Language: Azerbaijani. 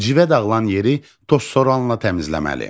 Civə dağılan yeri tozsoranla təmizləməli.